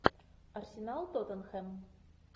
арсенал тоттенхэм